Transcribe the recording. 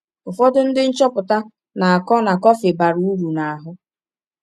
Ụfọdụ ndị nchọpụta na-akọ na kọfị bara uru n’ahụ.